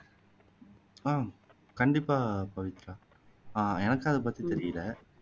ஆஹ் கண்டிப்பா பவித்ரா ஆஹ் எனக்கும் அதை பத்தி தெரியல